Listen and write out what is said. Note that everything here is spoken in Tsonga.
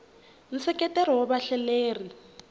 nseketelo wa vahleleri